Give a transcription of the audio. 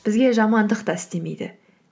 бізге жамандық та істемейді